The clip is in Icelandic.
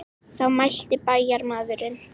Þá mælti bæjarmaðurinn.